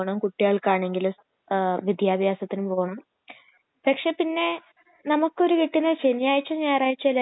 അവര് എല്ലാം കഴിക്കും അരിയാഹാരവും കഴിക്കും മത്സ്യവും മാംസവും ഒക്കെ കഴിക്കും